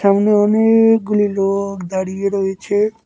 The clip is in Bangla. সামনে অনেকগুলি লোক দাঁড়িয়ে রয়েছে।